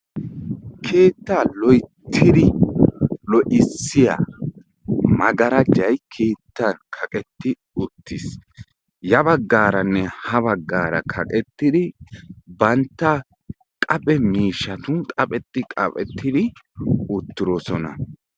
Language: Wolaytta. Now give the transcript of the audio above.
Keettaa loyittidi lo"issiya magarajay keettan kaqetti uttis. Ya baggaranne ha baggaara kaqettidi bantta qaphe miishatun qapheti qaphetidi utirosona.